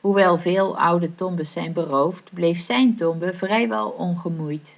hoewel veel oude tombes zijn beroofd bleef zijn tombe vrijwel ongemoeid